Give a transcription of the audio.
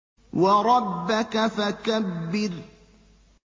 وَرَبَّكَ فَكَبِّرْ